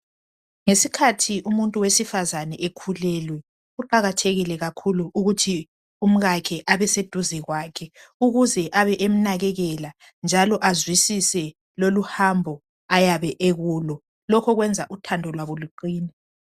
Ngesikhathi umuntu owesifazana ekulelwe. Kuqakathekile kakhulu ukuthi umngakhe abeseduze kwakhe ukuze abe emnakekela. Njalo azwisise lolu hambo ayabe ekulo. Lokhu kwrnza uthando labo luqine.